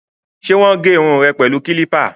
Ṣé wọ́n gé irun rẹ pẹ̀lú kílípà?